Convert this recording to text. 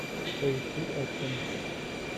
поищи экшн